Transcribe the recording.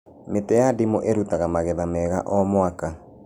Mĩtĩ ya ndimũ ĩrutaga magetha mega o mũaka